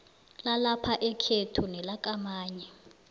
lalapha ekhethu nelakamanye